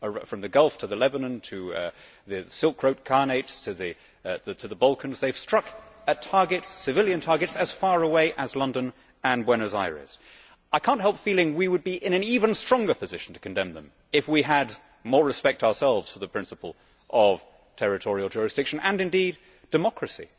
From the Gulf to the Lebanon, to the Silk Road khanates, to the Balkans, they have struck at civilian targets as far away as London and Buenos Aires. I cannot help feeling that we would be in an even stronger position to condemn them if we had more respect ourselves for the principle of territorial jurisdiction and, indeed, democracy.